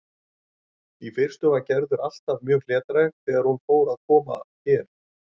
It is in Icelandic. Í fyrstu var Gerður alltaf mjög hlédræg þegar hún fór að koma hér.